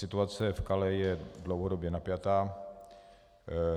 Situace v Calais je dlouhodobě napjatá.